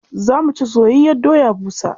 Za mu ci soyayyiyar doya busa.